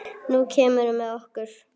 Nú kemurðu með okkur